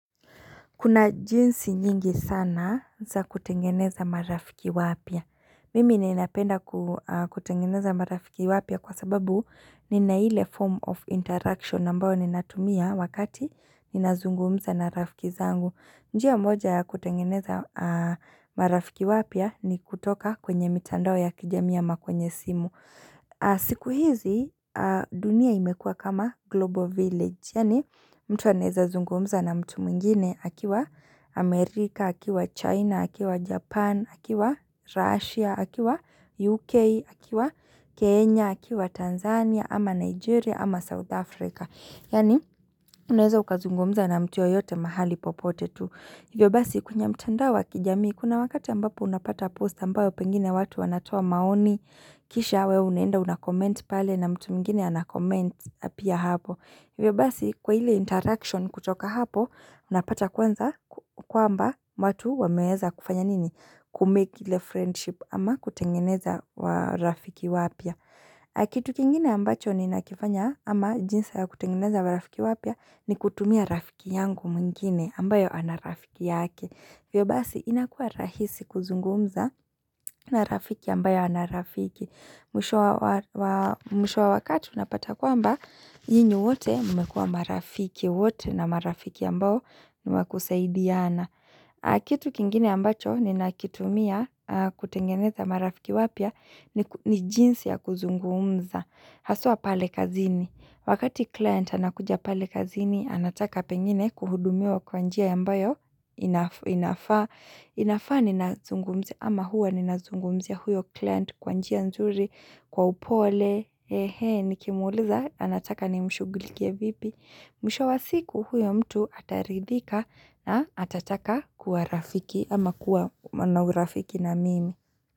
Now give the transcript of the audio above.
Kuna jinsi nyingi sana za kutengeneza marafiki wapya. Mimi niinapenda kutengeneza marafiki wapya kwa sababu nina ile form of interaction ambao ninatumia wakati ninazungumza na rafiki zangu. Njia moja kutengeneza marafiki wapya ni kutoka kwenye mitandao ya kijamii ama kwenye simu. Siku hizi dunia imekua kama global village. Yaani mtu anaeza zungumza na mtu mwingine akiwa Amerika, akiwa China, akiwa Japan, akiwa Russia, akiwa UK, akiwa Kenya, akiwa Tanzania, ama Nigeria, ama South Africa Yaani unaeza ukazungumza na mtu yoyote mahali popote tu Hivyo basi kwenye mtandao wa kijamii kuna wakati ambapo unapata post ambayo pengine watu wanatoa maoni kisha we unaenda unakoment pale na mtu mwingine anakoment pia hapo hivyo basi kwa ile interaction kutoka hapo, unapata kwanza kwamba watu wameweza kufanya nini? Kumake ile friendship ama kutengeneza wa rafiki wapya. Kitu kingine ambacho ninakifanya ama jinsi ya kutengeneza marafiki wapya ni kutumia rafiki yangu mwingine ambayo ana rafiki yake. Hivyo basi inakuwa rahisi kuzungumza na rafiki ambayo ana rafiki. Mwisho wa wakati unapata kwamba nyinyi wote mmekuwa marafiki wote na marafiki ambao ni wa kusaidiana. Kitu kingine ambacho ninakitumia kutengeneza marafiki wapya ni jinsi ya kuzungumza. Haswa pale kazini. Wakati client anakuja pale kazini anataka pengine kuhudumiwa kwa njia ambayo inafaa. Inafaa ninazungumzia ama huwa ninazungumzia ya huyo client kwa njia nzuri kwa upole ehee nikimuuliza anataka nimshugulikie vipi Mwisho wa siku huyo mtu ataridhika na atataka kuwa rafiki ama kuwa na urafiki na mimi.